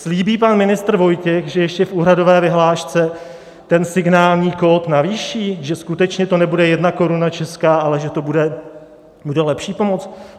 Slíbí pan ministr Vojtěch, že ještě v úhradové vyhlášce ten signální kód navýší, že skutečně to nebude jedna koruna česká, ale že to bude lepší pomoc?